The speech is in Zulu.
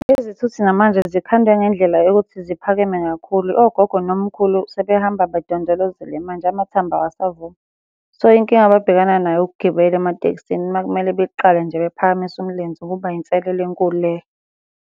Izithuthi namanje zikhandwe ngendlela yokuthi ziphakeme kakhulu, ogogo nomkhulu sebehamba bedondolozele manje amathambo awasavumi. So, inkinga ababhekana nayo ukugibela ematekisini uma kumele beqale nje bephakamise umlenze kuba inselelo enkulu leyo.